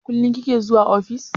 Kullum kike zuwa ofis?